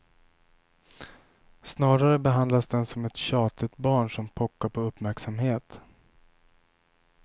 Snarare behandlas den som ett tjatigt barn som pockar på uppmärksamhet.